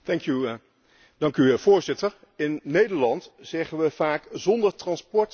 Voorzitter, in Nederland zeggen we vaak 'Zonder transport staat alles stil'.